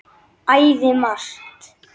Æði margt.